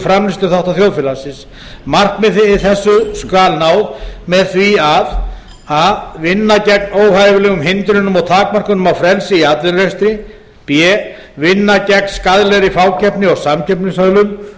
framleiðsluþátta þjóðfélagsins markmiði þessu skal náð með því að a vinna gegn óhæfilegum hindrunum og takmörkunum á frelsi í atvinnurekstri b vinna gegn skaðlegri fákeppni og samkeppnishömlum